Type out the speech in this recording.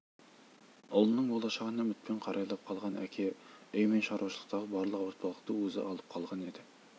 ұлының болашағына үмітпен қарайлап қалған әке үй мен шаруашылықтағы барлық ауыртпалықты өзі алып қалған еді